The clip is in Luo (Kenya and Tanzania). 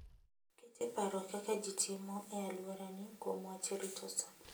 Ket e paro kaka ji timo e alworani kuom wach rito sa.